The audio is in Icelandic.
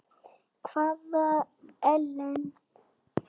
Hvaða Ellen?